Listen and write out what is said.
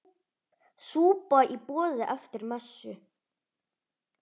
Súpa í boði eftir messu.